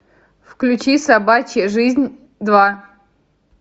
включи собачья жизнь два